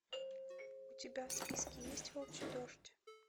у тебя в списке есть волчий дождь